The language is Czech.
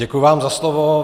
Děkuji vám za slovo.